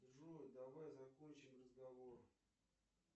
джой давай закончим разговор